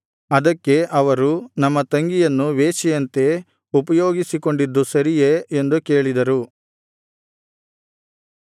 ಅದಕ್ಕೆ ಅವರು ನಮ್ಮ ತಂಗಿಯನ್ನು ವೇಶ್ಯೆಯಂತೆ ಉಪಯೋಗಿಸಿಕೊಂಡಿದ್ದು ಸರಿಯೇ ಎಂದು ಕೇಳಿದರು